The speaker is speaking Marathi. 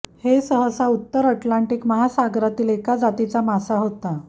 हे सहसा उत्तर अटलांटिक महासागरातील एका जातीचा मासा होता